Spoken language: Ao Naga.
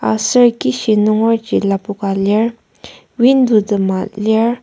aser kishi nungerji lapoka lir window tema lir.